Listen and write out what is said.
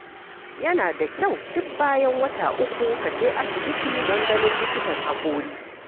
Yana da kyau duk bayan wata uku ka je asibiti don ganin likitan haƙori.